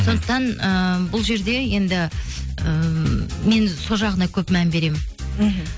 сондықтан ыыы бұл жерде енді ііі мен сол жағына көп мән беремін мхм